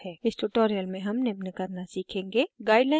इस tutorial में हम निम्न करना सीखेंगे